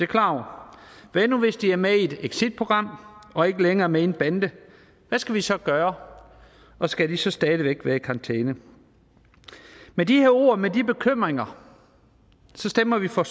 klar over hvad nu hvis de er med i et exitprogram og ikke længere er med i en bande hvad skal vi så gøre og skal de så stadig væk være i karantæne med de her ord med de her bekymringer stemmer vi for